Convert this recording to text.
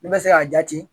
Ne bɛ se k'a jaati